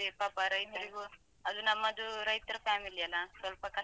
ಪಾಪ ರೈತ್ರಿಗೂ, ಅದು ನಮ್ಮದು ರೈತ್ರ family ಅಲ್ಲ?